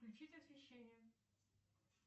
включить освещение